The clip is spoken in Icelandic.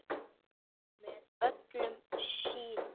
Með öllum síðunum?